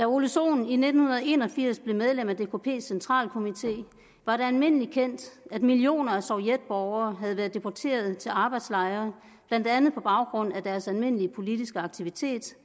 ole sohn i nitten en og firs blev medlem af dkps centralkomité var det almindeligt kendt at millioner af sovjetborgere havde været deporteret til arbejdslejre blandt andet på baggrund af deres almindelige politiske aktiviteter